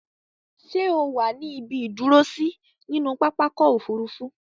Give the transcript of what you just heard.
Ṣẹ́ o wà ní ibi ìdúrósí nínú pápákọ̀-òfurufú?